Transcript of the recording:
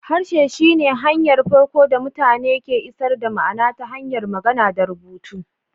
Harshe shi ne hanyar farko da mutane ke isar da ma'ana ta hanyar magana da rubutu